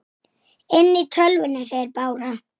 Enginn komi í hans stað.